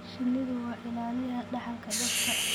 Shinnidu waa ilaaliyaha dhaxalka dhirta.